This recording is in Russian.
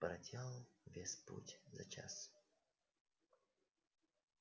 проделал весь путь за час